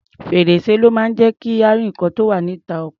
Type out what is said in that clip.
Fèr̀sé ló máa ń jẹ́ kí a rí nǹkan tó wá̀ níta ọkọ̀.